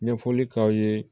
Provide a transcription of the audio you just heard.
Ɲɛfɔli k'aw ye